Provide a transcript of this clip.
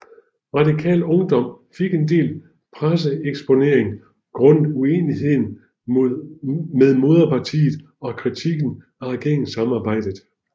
Radikal Ungdom fik en del presseeksponering grundet uenigheden med moderpartiet og kritikken af regeringssamarbejdet